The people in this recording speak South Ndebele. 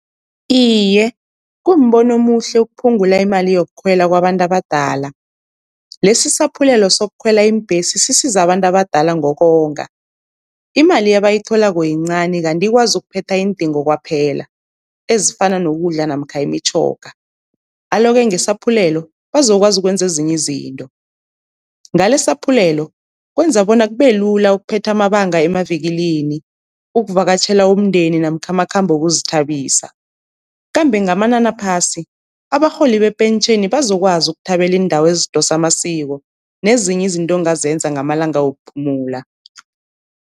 Iye, kumbono omuhle ukuphungula imali yokukhwela kwabantu abadala, lesi isaphulelo sokukhwela iimbhesi sisiza abantu abadala ngokonga. Imali abayitholako yincani kanti ikwazi ukuphetha iindingo kwaphela ezifana nokudla namkha imitjhoga, alo-ke ngesaphulelo bazokwazi ukwenza ezinye izinto. Ngale saphulelo kwenza bona kube lula ukuphetha amabanga emavikilini, ukuvakatjhela umndeni namkha amakhambo wokuzithabisa. Kambe ngamanani aphasi abarholi bepentjheni bazokwazi ukuthabela iindawo ezidosa amasiko, nezinye izinto ongazenza ngamalanga wokuphumula.